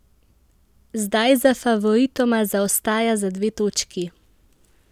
Zdaj za favoritoma zaostaja za dve točki.